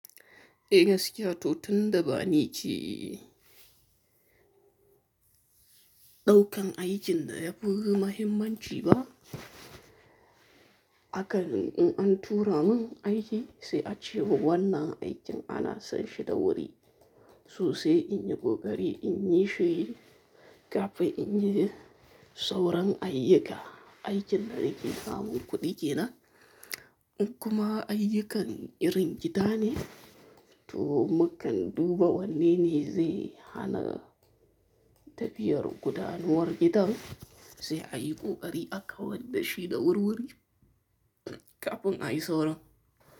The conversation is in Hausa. E, gaskiya to tun da ba ni ce, ɗaukan aikin da ya fi mahimmanci ba. Haka ne, in an tura min aiki sai a ce mai wannan aikin ana son shi da wuri. To sai in yi ƙoƙari in yi shi, kafin in yi sauran ayyuka. Aikin da yake samun kuɗi ke nan in kuma ayyukan irin gida ne, to mukan duba wanne ne zai hana tafiyar gudanuwar gidan, sai a yi ƙoƙari aka wardashi da wurwuri kafin ayi sauran.